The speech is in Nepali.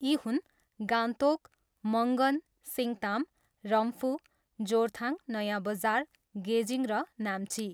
यी हुन् गान्तोक, मङ्गन, सिङताम, रम्फू, जोरथाङ, नयाँबजार, गेजिङ र नाम्ची।